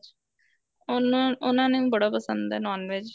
ਉਹਨਾ ਉਹਨਾ ਨੂੰ ਬੜਾ ਪਸੰਦ ਏ NON VEG